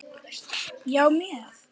Já, mjög.